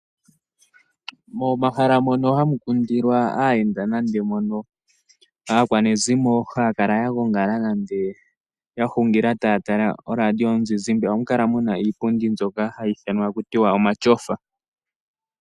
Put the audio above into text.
Momahala ngono hamu kundilwa aayenda nande mono aakwanezimo haya kala ya gongala nande ya hungila taya tala oradio yomuzizimbe oha mu kala mu na iipundi mbyoka hayi ithanwa omatyofa.